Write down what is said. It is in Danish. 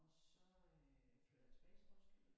Og så øh flytter jeg tilbage til Roskilde